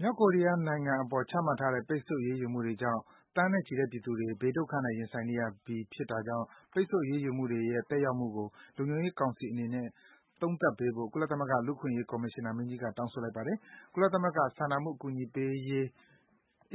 မြောက်ကိုရီးယားနိုင်ငံအပေါ် ချမှတ်ထားတဲ့ ပိတ်ဆို့အရေးယူမှုတွေကြောင့် သန်းနဲ့ချီတဲ့ ပြည်သူတွေ ဘေးဒုက္ခနဲ့ ရင်ဆိုင်နေရပြီး ဖြစ်တာကြောင့် ပိတ်ဆို့ အရေးုယူမှုတွေရဲ့ သက်ရောက်မှုကို လုံခြုံရေးကောင်စီအနေနဲ့ သုံးသပ်ပေးဖို့ ကုလသမဂ္ဂ လူ့အခွင့်အရေး ကော်မရှင်နာမင်းကြီးက တောင်းဆိုလိုက်ပါတယ်။ ကုလသမဂ္ဂ စာနာမှုအကူအညီပေးရေး